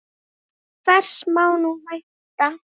En hvers má nú vænta?